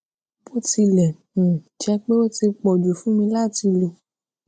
bó tilè um jé pé ó ti pò jù fún mi láti lọ